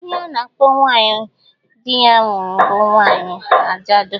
Ihe a na-akpọ nwaanyị di ya nwụrụ bụ nwaanyị ajadụ